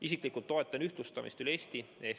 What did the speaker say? Isiklikult toetan ühtlustamist üle Eesti.